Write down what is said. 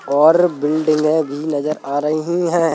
और बिल्डिंगे भी नजर आ रही है।